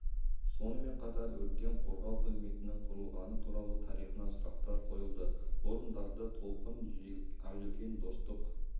сонымен қатар өрттен қорғау қызметінің құрылғаны туралы тарихынан сұрақтар қойылды орындарды толқың ақжелкен достық